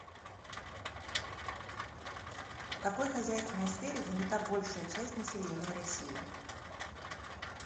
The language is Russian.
в какой хозяйственной сфере занята большая часть населения россии